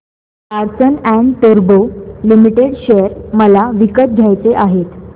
Larsen and टुर्बो limited share मला विकत घ्यायचे आहेत